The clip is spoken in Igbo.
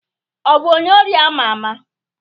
Ọ bụ onye ori ama ama?